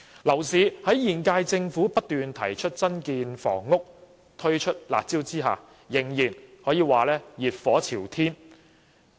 樓市在現屆政府不斷提出增建房屋及推出"辣招"之下，仍然熱火朝天。